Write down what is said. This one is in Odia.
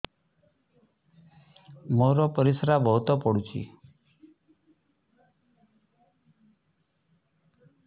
ମୋର ପରିସ୍ରା ବହୁତ ପୁଡୁଚି